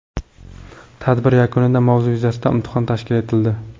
Tadbir yakunida mavzu yuzasidan imtihon tashkil etildi.